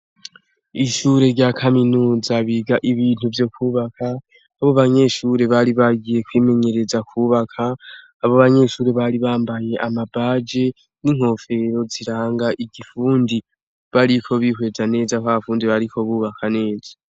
Ishure rya Kaminuza biga ibintu vyo kwubaka abo banyeshure bari bagiye kwimenyereza kwubaka, abo banyeshure bari bambaye ama baje ninkofero ziranga igifundi, bariko bihweza neza ko abo bafundi bazi kwubaka neza.